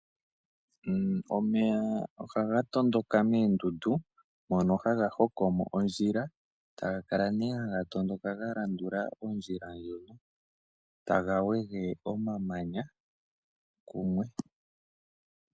Omeya ohaga tondoka moondundu mono haga hongo mo ondjila, taga kala nee haga tondoka ga landula ondjila ndjo, taga wege omamanya kumwe.